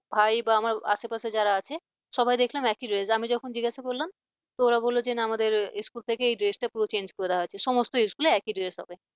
ভাই বা আমার আশেপাশে যারা আছে সবাই দেখলাম একই dress আমি যখন জিজ্ঞাসা করলাম তোরা বললো যে না আমাদের school থেকে এই dress টা পুরো change করে দেওয়া হয়েছে সমস্ত school একই dress হবে।